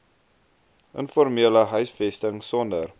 informele huisvesting sonder